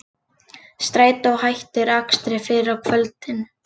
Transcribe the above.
Strætó hættir akstri fyrr á kvöldin